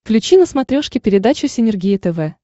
включи на смотрешке передачу синергия тв